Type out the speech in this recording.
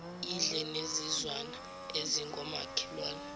idle nezizwana ezingomakhelwane